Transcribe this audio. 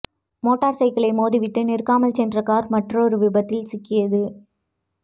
motor சைக்கிளை மோதிவிட்டு நிற்காமல் சென்ற கார் மற்றொரு விபத்தில் சிக்கியது